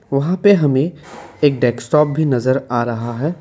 वहां पर हमें एक डेस्कटॉप भी नजर आ रहा है।